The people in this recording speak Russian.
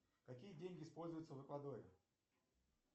какие деньги используются в эквадоре